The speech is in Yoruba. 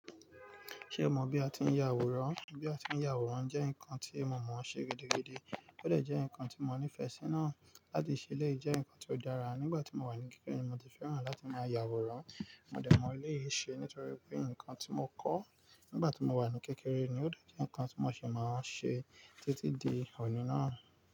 Ṣé o mọ bí a ti ń ya àwòrán? Bí a ti ń ya àwòrán jẹ́ nǹkan tí mo mọ̀ ṣe gidi gidi. Ó lè jẹ́ nǹkan tí mo nífẹ̀ẹ́ sí náà láti ṣe lẹ́ẹ̀ẹ́ jẹ́ nǹkan tó dára. Nígbà tí mo wà ní kékeré ni mo ti fẹ́ràn láti máa ya àwòrán. Mo dẹ̀ mọ eleyii ṣe nítorí pé nǹkan tí mo kọ́ nígbà tí mo wà ní kékeré ni ó de je nǹkan tí mo ṣi máa ń ṣe títí di òní náà.